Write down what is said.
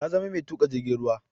Ta zama mai tuka jirgin ruwa.